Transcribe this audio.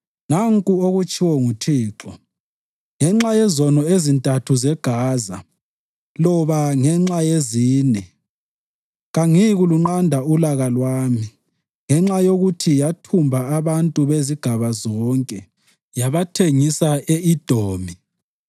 Nanku okutshiwo nguThixo: “Ngenxa yezono ezintathu zeGaza loba ngenxa yezine, kangiyikulunqanda ulaka lwami ngenxa yokuthi yathumba abantu bezigaba zonke yabathengisa e-Edomi,